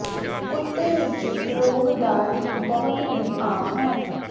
ਕੁੱਤੇ ਵਿਚ ਰੋਗ ਦਾ ਇੱਕ ਬਹੁਤ ਹੀ ਆਮ ਹੈ